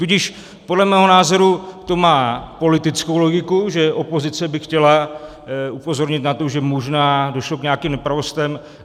Tudíž podle mého názoru to má politickou logiku, že opozice by chtěla upozornit na to, že možná došlo k nějakým nepravostem.